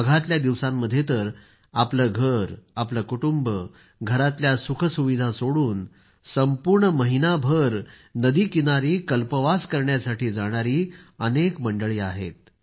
माघातल्या दिवसांमध्ये तर लोक आपलं घर परिवार घरातल्या सुखसुविधा सोडून संपूर्ण महिनाभर नदीकिनारी कल्पवास करण्यासाठी जाणारी अनेक मंडळी आहेत